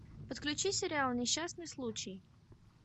подключи сериал несчастный случай